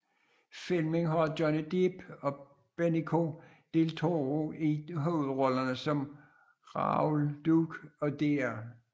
Filmen har Johnny Depp og Benicio del Toro i hovedrollerne som Raoul Duke og Dr